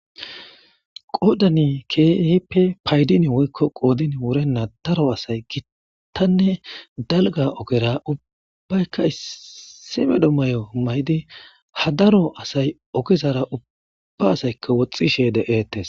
Qoodani keeheppe paydin woykko qoodin wurenna daro asay gittanne dalga ogera ubbaykka issimedo may7o maydi hadaro asay ogezara ubba asayka woxxishe de'etes.